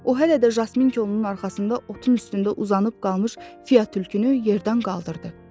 O hələ də Jasminkonun arxasında otun üstündə uzanıb qalmış Fia tülkünü yerdən qaldırdı.